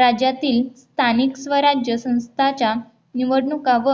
राज्यातील स्थानिक स्वराज्य संस्थांच्या निवडणुका व